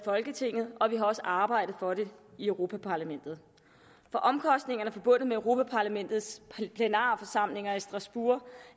folketinget og vi har også arbejdet for det i europa parlamentet for omkostningerne forbundet med europa parlamentets plenarforsamlinger i strasbourg